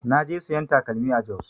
Na je sayan takalmi a Jos